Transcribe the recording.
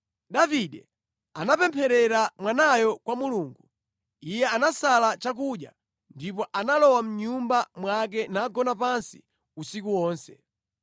Davide anapempherera mwanayo kwa Mulungu. Iye anasala chakudya ndipo analowa mʼnyumba mwake nagona pansi usiku wonse.